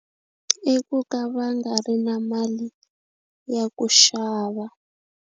I ku ka va nga ri na mali ya ku xava.